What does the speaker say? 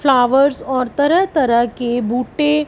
flowers और तरह तरह के बूटे--